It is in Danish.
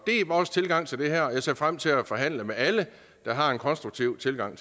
vores tilgang til det her og jeg ser frem til at forhandle med alle der har en konstruktiv tilgang